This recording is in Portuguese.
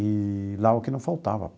Eee lá é o que não faltava.